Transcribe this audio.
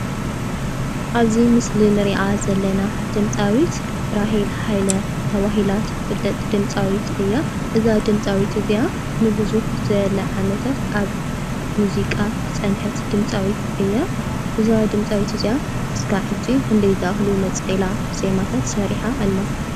ኣብዚ ምስሊ እንርእያ ዘለና ድምጻዊት ራሄል ሃይለ ተባሂላ ትፍለጥ ድምጻዊት እያ። እዛ ድምጻዊት እዚኣ ንብዝሕ ዝበለ ዓመታት ኣብ ሙዚቃ ዝጸንሐት ድምጻዊት እያ። እዛ ድምጻዊት እዚኣ ክሳብ ሕጂ ክንደይ ዝኣክሉ ነጸላ ዜማታት ሰሪሓ ኣላ ?